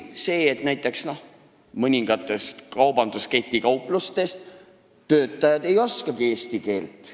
Paljusid ei häiri, et mõningate kaubanduskettide kauplustes töötajad ei oska eesti keelt.